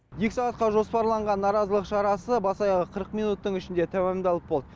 екі сағатқа жоспарланған наразылық шарасы бас аяғы қырық минуттың ішінде тәмамдалып болды